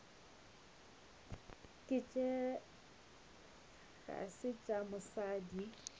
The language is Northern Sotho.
tše ga se tša mosadi